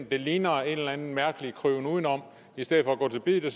det ligner en eller anden mærkelig kryben udenom i stedet for at gå til biddet og